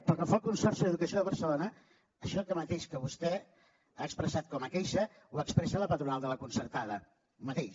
pel que fa al consorci d’educació de barcelona això mateix que vostè ha expressat com a queixa ho expressa la patronal de la concertada el mateix